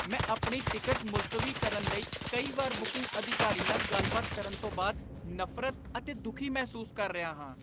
ਮੈਂ ਆਪਣੀ ਟਿਕਟ ਮੁਲਤਵੀ ਕਰਨ ਲਈ ਕਈ ਵਾਰ ਬੁਕਿੰਗ ਅਧਿਕਾਰੀ ਨਾਲ ਗੱਲਬਾਤ ਕਰਨ ਤੋਂ ਬਾਅਦ ਨਫ਼ਰਤ ਅਤੇ ਦੁੱਖੀ ਮਹਿਸੂਸ ਕਰ ਰਿਹਾ ਹਾਂ।